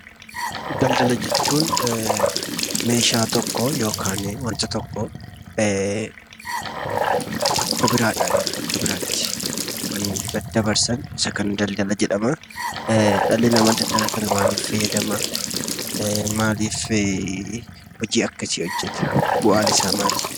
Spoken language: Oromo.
Daldala jechuun meeshaa yookiin wanta tokko bakka biraadhaa gara bakka biraatti kan daddabarsan inni kun daldala jedhama. Dhalli namaa daldala kana maaliif fayyadama? Bu'aan isaa maali?